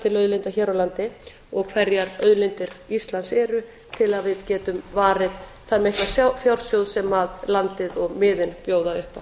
til auðlinda hér á landi og hverjar auðlindir íslands eru til að við getum varið þann mikla fjársjóð sem landið og miðin bjóða upp á